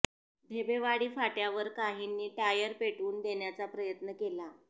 ढेबेवाडी फाट्यावर काहींनी टायर पेटवून देण्याचा प्रयत्न केला